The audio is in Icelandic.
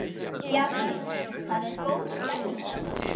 Bjarni, það er góð stemning hérna?